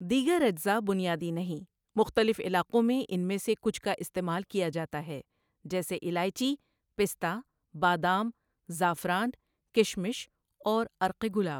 دیگر اجزا بنیادی نہیں، مختلف علاقوں میں ان میں سے کچھ کا استعمال کیا جاتا ہے، جیسے الائچی، پستہ، بادام، زعفران، کشمش اور عرق گلاب۔